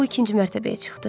O ikinci mərtəbəyə çıxdı.